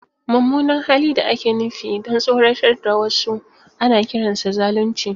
Mummunan hali da ake nufi don tsoratar da wasu ana kiransa zalunci.